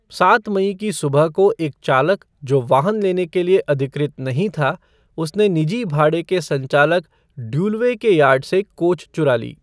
सात मई की सुबह को एक चालक जो वाहन लेने के लिए अधिकृत नहीं था, उसने निजी भाड़े के संचालक ड्यूलवे के यार्ड से कोच चुरा ली।